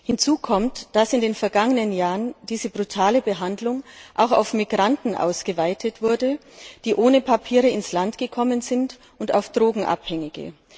Hinzu kommt, dass in den vergangenen Jahren diese brutale Behandlung auch auf Migranten ausgeweitet wurde, die ohne Papiere ins Land gekommen sind, und auf Drogenabhängige.